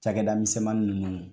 Cakɛda misɛnmannin ninnu